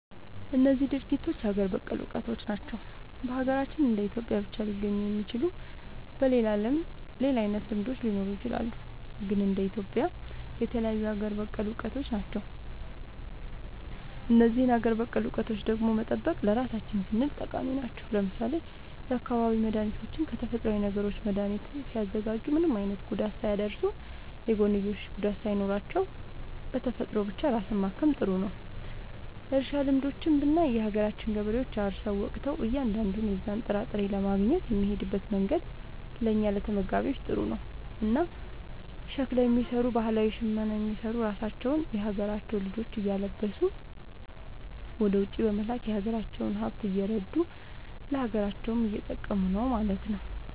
እነዚህ ድርጊቶች ሀገር በቀል እውቀቶች ናቸው። በሀገራችን እንደ ኢትዮጵያ ብቻ ሊገኙ የሚችሉ። በሌላው ዓለምም ሌላ አይነት ልምዶች ሊኖሩ ይችላሉ። ግን እንደ ኢትዮጵያ የተለዩ ሀገር በቀል እውቀቶች ናቸው። እነዚህን ሀገር በቀል እውቀቶች ደግሞ መጠበቅ ለራሳችን ስንል ጠቃሚ ናቸው። ለምሳሌ የአካባቢ መድኃኒቶችን ከተፈጥሮዊ ነገሮች መድኃኒት ሲያዘጋጁ ምንም አይነት ጉዳት ሳያደርሱ፣ የጎንዮሽ ጉዳት ሳይኖራቸው፣ በተፈጥሮ ብቻ ራስን ማከም ጥሩ ነዉ። እርሻ ልምዶችንም ብናይ የሀገራችን ገበሬዎች አርሰው ወቅተው እያንዳንዱን የዛን ጥራጥሬ ለማግኘት የሚሄድበት መንገድ ለእኛ ለተመጋቢዎች ጥሩ ነው። እና ሸክላ የሚሰሩ ባህላዊ ሽመና የሚሰሩ ራሳቸውን የሀገራቸውን ልጆች እያለበሱ ወደ ውጪ በመላክ የሀገራቸውን ሃብት እያረዱ ለሀገራቸውም እየጠቀሙ ነው ማለት።